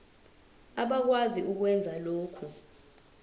abakwazi ukwenza lokhu